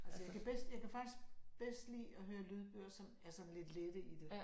Altså jeg kan bedst jeg kan faktisk bedst lide at høre lydbøger som er sådan lidt lette i det